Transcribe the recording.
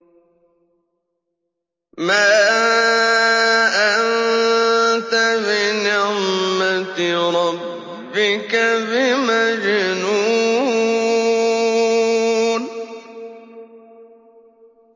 مَا أَنتَ بِنِعْمَةِ رَبِّكَ بِمَجْنُونٍ